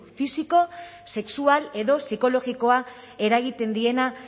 fisiko sexual edo psikologikoa eragiten diena